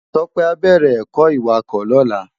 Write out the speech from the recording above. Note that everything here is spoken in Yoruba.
Tope á bèrè èkò iwákò lòlá